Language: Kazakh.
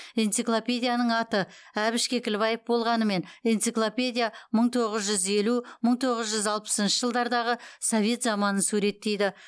энциклопедияның аты әбіш кекілбаев болғанымен энциклопедия мың тоғыз жүз елу мың тоғыз жүз алпысыншы жылдардағы совет заманын суреттейді